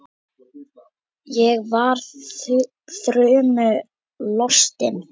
Ég var þrumu lostin.